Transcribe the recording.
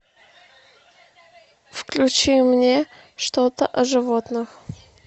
включи мне что то о животных